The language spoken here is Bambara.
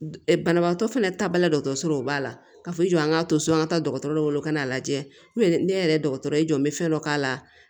Banabaatɔ fana taa ba la dɔgɔtɔrɔso o b'a la ka f'i jɔ an ka to so an ka taa dɔgɔtɔrɔ wolo ka n'a lajɛ ne yɛrɛ dɔgɔtɔrɔ ye jɔn n bɛ fɛn dɔ k'a la